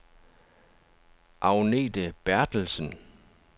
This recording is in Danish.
Agnethe Berthelsen